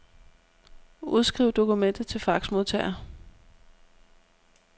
Udskriv dokumentet til faxmodtager.